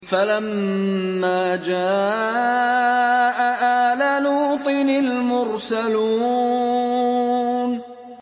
فَلَمَّا جَاءَ آلَ لُوطٍ الْمُرْسَلُونَ